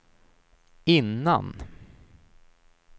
innan